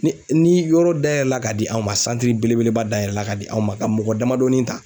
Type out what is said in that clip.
Ni ni yɔrɔ dayɛlɛ la ka di anw ma belebeleba dayɛlɛ la ka di anw ma ka mɔgɔ damadɔni ta.